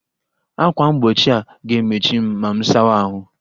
Ákwà mgbochi a ga-emechi m ma m sawa ahụ?